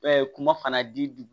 kuma fana di dugu